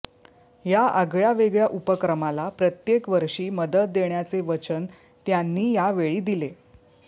या आगळ्यावेगळ्या उपक्रमाला प्रत्येक वर्षी मदत देण्याचे वचन त्यांनी यावेळी दिले